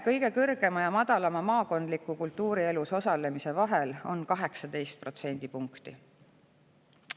Kõige kõrgema ja kõige madalama maakondliku kultuurielus osalemise vahe on 18 protsendipunkti.